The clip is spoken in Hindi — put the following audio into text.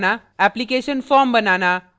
application form banana